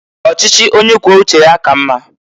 Ọchịchị onye kwuo uche ya ka mma.